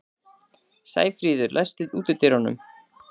Sæfríður, læstu útidyrunum.